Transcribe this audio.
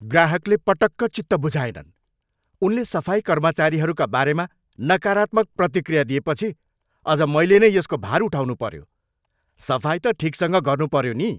ग्राहकले पटक्क चित्त बुझाएनन्। उनले सफाई कर्मचारीहरूका बारेमा नकारात्मक प्रतिक्रिया दिएपछि अझ मैले नै यसको भार उठाउनुपऱ्यो। सफाइ त ठिकसँग गर्नुपऱ्यो नि!